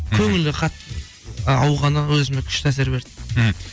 көңілі қатты ауғаны өзіме күшті әсер берді мхм